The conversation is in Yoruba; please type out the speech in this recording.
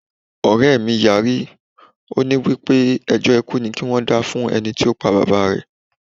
Ọ̀rẹ́ mí yarí, ó ní wípé ẹjọ́ ikú ni kí wón dá fún ẹnití ó pa Bàbá rẹ̀.